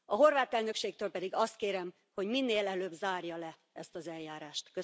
A horvát elnökségtől pedig azt kérem, hogy minél előbb zárja le ezt az eljárást.